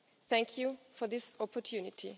Thank you for this opportunity.